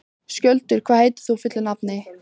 Skjöldur, hvað heitir þú fullu nafni?